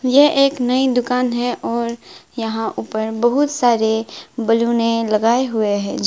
यह एक नई दुकान है और यहां ऊपर बहुत सारे बैलूने लगाए हुए हैं जीस--